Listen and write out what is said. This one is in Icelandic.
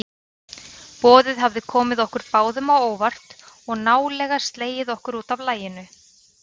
Boðið hafði komið okkur báðum á óvart og nálega slegið okkur útaf laginu.